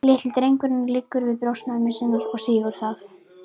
Litli drengurinn liggur við brjóst mömmu sinnar og sýgur það.